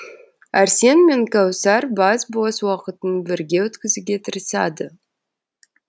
арсен мен кәусар бас бос уақытын бірге өткізуге тырысады